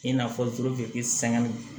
I n'a fɔ sɛgɛn bɛ